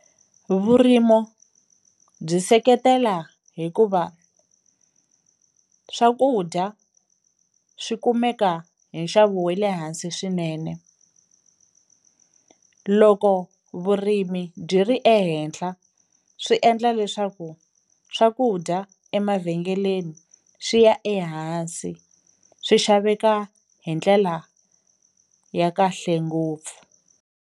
Vurimo byi seketela hikuva swakudya swi kumeka hi nxavo we le hansi swinene, loko vurimi byi ri ehenhla swi endla leswaku swakudya emavhengeleni swi ya ehansi swi xaveka hi ndlela ya kahle ngopfu.